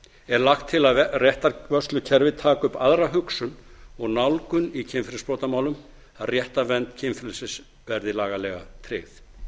er lagt til að réttarvörslukerfið taki upp aðra hugsun og nálgun í kynferðisbrotamálum að réttarvernd kynfrelsis verði lagalega tryggð